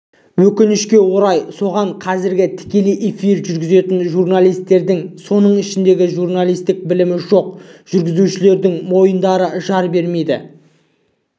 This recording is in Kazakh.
өкінішке орай оған қазіргі тікелей эфирді жүргізетін журналистердің соның ішіндегі журналистік білімі жоқ жүргізушілердің мойындары жар бермейді